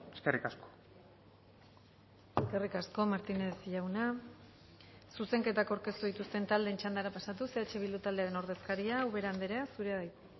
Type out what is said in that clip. eskerrik asko eskerrik asko martínez jauna zuzenketak aurkeztu dituzten taldeen txandara pasatuz eh bildu taldearen ordezkaria ubera andrea zurea da hitza